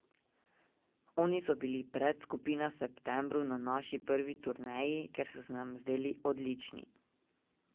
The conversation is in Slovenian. Oni so bili predskupina Septembru na naši prvi turneji, ker so se nam zdeli odlični.